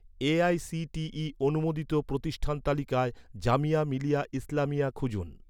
AICTE অনুমোদিত প্রতিষ্ঠান তালিকায়, জামিয়া মিলিয়া ইসলামিয়া খুঁজুন